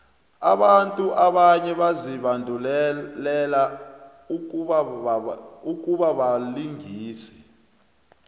abantu abanye bazibandulele ukubabalingisi